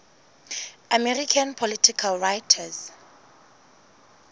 american political writers